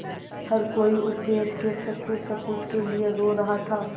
हर कोई उस देश के सच्चे सपूत के लिए रो रहा था